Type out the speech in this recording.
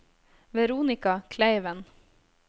Veronika Kleiven